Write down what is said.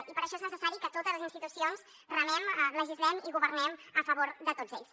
i per això és necessari que totes les institucions remem legislem i governem a favor de tots ells